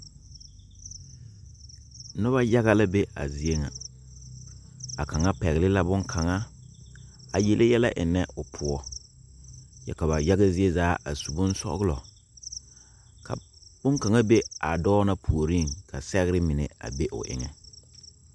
Nuba yaga la be a zeɛ nga a kanga pɛgli la bunkanga a yeleyɛlɛ enna ɔ pou kye ka ba yaga zee zaa a su bunsɔglɔ ka bunkanga be a doɔ na poɔring ka segrɛ mene be ɔ engan.